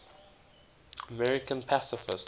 american pacifists